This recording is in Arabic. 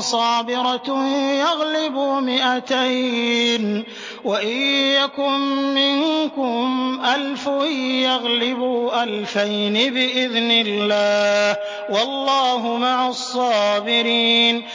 صَابِرَةٌ يَغْلِبُوا مِائَتَيْنِ ۚ وَإِن يَكُن مِّنكُمْ أَلْفٌ يَغْلِبُوا أَلْفَيْنِ بِإِذْنِ اللَّهِ ۗ وَاللَّهُ مَعَ الصَّابِرِينَ